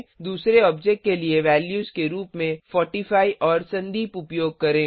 दूसरे ऑब्जेक्ट के लिए वैल्यूज के रुप में 45 और संदीप उपयोग करें